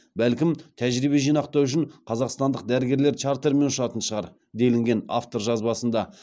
бәлкім тәжірибе жинақтау үшін қазақстандық дәрігерлер чартермен ұшатын шығар делінген автор жазбасында